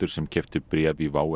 sem keyptu bréf í WOW